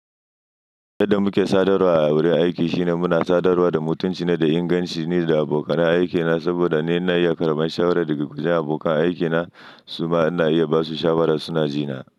Yadda muke sadarwa a wurin aiki shine muna sadarwa da mutunci ne, da inganci ne da abokan aikina saboda ni na iya karɓar shawara daga kujen abokan aikina, su ma na iya ba su shawara suna ji na.